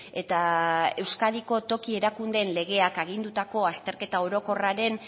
eta euskadiko toki erakundeen legeak agindutako azterketa orokorraren